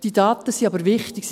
Diese Daten sind aber wichtig.